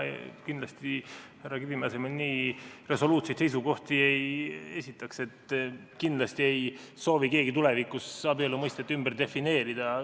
Mina härra Kivimäe asemel nii resoluutseid seisukohti ei esitaks, et kindlasti ei soovi keegi tulevikus abielu mõistet ümber defineerida.